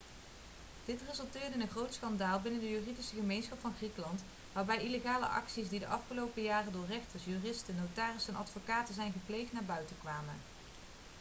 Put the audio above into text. dit resulteerde in een groot schandaal binnen de juridische gemeenschap van griekenland waarbij illegale acties die de afgelopen jaren door rechters juristen notarissen en advocaten zijn gepleegd naar buiten kwamen